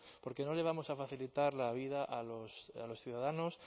porque no le vamos a facilitar la vida a los ciudadanos